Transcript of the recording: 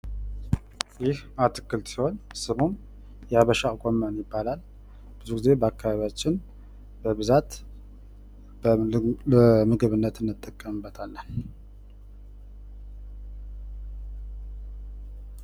ይህ አትክልት ሲሆን ስሙ የአበሻ ጎመን በመባል ይባላል። ብዙ ጊዜ በአካባቢያችን በብዛት ለምግብነት እንጠቀምበታለን።